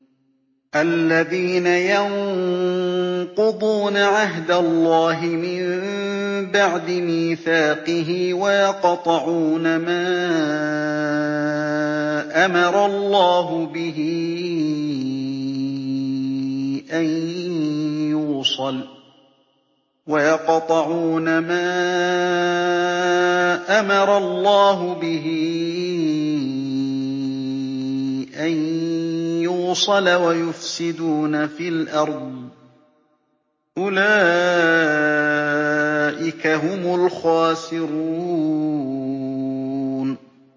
الَّذِينَ يَنقُضُونَ عَهْدَ اللَّهِ مِن بَعْدِ مِيثَاقِهِ وَيَقْطَعُونَ مَا أَمَرَ اللَّهُ بِهِ أَن يُوصَلَ وَيُفْسِدُونَ فِي الْأَرْضِ ۚ أُولَٰئِكَ هُمُ الْخَاسِرُونَ